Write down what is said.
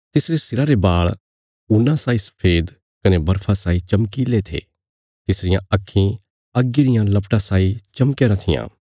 तिसरे सिरा रे बाल़ ऊन्ना साई सफेद कने बर्फा साई चमकीले थे तिसरियां आक्खीं अग्गी रियां लपटां साई चमकया राँ थिआं